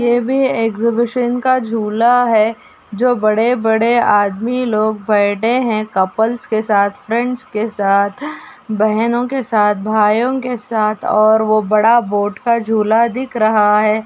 ये भी एक्सहिबिशन का झूला है जो बड़े बड़े आदमी लोग बैठे हैं कपल्स के साथ फ्रेंड्स के साथ बहनों के साथ भायो के साथ और वो बड़ा बोट का झूला दिख रहा है।